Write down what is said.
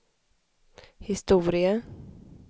historia